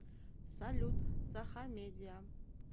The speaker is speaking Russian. салют сахамедиа